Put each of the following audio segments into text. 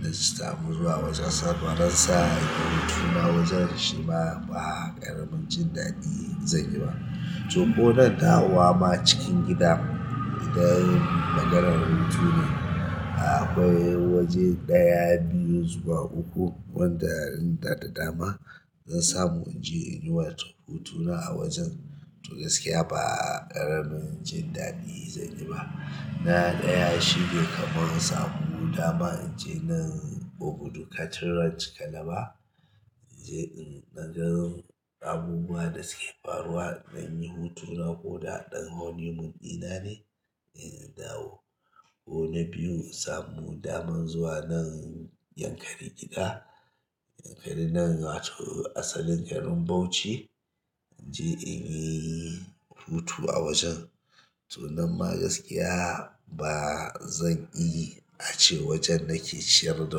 na samu zuwa ƙasar Faransa in yi hutuna a wajen shima ba ƙaramin jin daɗi zan yi ba. To ko nan dawowa ma cikin gida, idan maganar hutu ne. Akwai waje ɗaya, biyu zuwa uku wanda in da, da dama. Zan samu in je in yi watan hutuna a wajen to gaskiya ba ƙaramin jin daɗi zan yi ba. Na ɗaya shine kaman in samu dama in je nan Ogudu Cattle Ranch Calabar in je in ɗan gan abubuwa da suke faruwa in ɗan yi hutuna ko da ɗan honeymoon di na ne, in dawo. Ko na biyu in samu dama zuwa nan Yankari Gida. Yankari nan wato asalin garin Bauchi in je in yi hutu a wajen. To nan ma gaskiya ba zan iya ace wajen nake ciyar da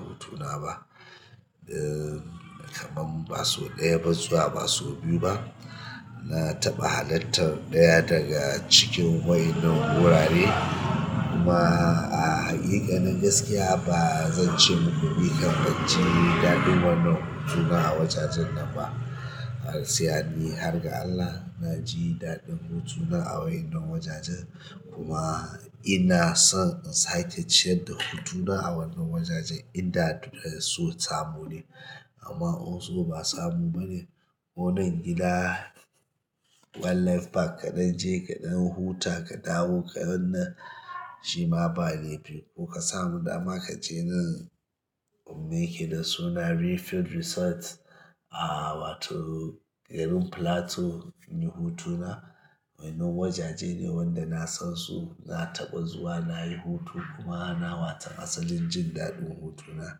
hutuna ba. Eh, kaman ba sau ɗaya ba zuwa ba sau biyu ba. Na taɓa halartar ɗaya daga cikin wa'innan wurare kuma a haqiƙanin gaskiya ba zan ce muku ni kam banji daɗin wannan hutuna a wajajen nan ba. Gaskiya ni har ga Allah na ji daɗin hutuna a wa'innan wajajen kuma. Ina son in sake ciyar da hutuna a wannan wajajen in da so samu ne. Amma also ba samu bane ko nan gida Wildlife Park kaɗan je kaɗan huta ka dawo ka wanna shima ba ne. Ko ka samu dama ka je nan Umme ke da suna Refill Resort a wato garin Plateau in yi hutuna. Wa'innan wajaje ne wanda na san su na taɓa zuwa na yi hutu kuma na watan asalin jin daɗin hutuna.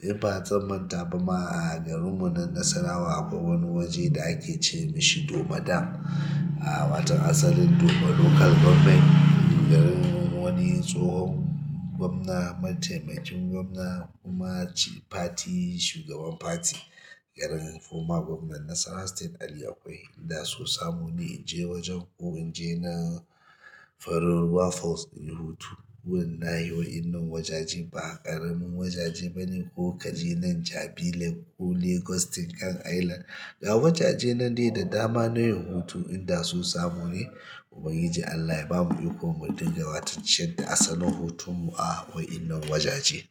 In ba zan manta ba ma a garinmu nan Nasarawa akwai wani waje da ake ce mishi Domadan. A watan asalin Doma Local Government, garin wani tsohon gwamna, mataimakin gwamna kuma shi party shugaban party, garin former gwamna Nasarawa state Aliyu akwai. Da so samu ne in je wajen ko in je nan farin ruwa Falls in yi hutu. Kuma wallahi wa'innan wajaje ba ƙaramin wajeje bane ko kaje nan jabi lake ko Lagos state kan island. Ga wajajen nan dai da dama na yin hutu in da so samu ne Ubangiji Allah ya bamu iko mu dinga watan ciyar da asalin hutun mu a wa'innan wajaje.